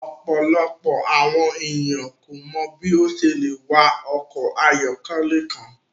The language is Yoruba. Ọpọlọpọ awọn eniyan ko mọ bi o ṣe le wa ọkọ ayọkẹlẹ kan